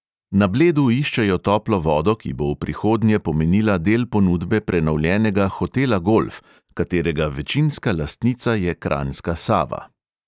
Na bledu iščejo toplo vodo, ki bo v prihodnje pomenila del ponudbe prenovljenega hotela golf, katerega večinska lastnica je kranjska sava.